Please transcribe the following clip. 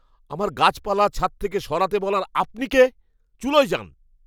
আমার গাছপালা ছাদ থেকে সরাতে বলার আপনি কে? চুলোয় যান!